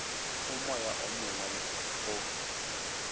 ge moya o mongwe o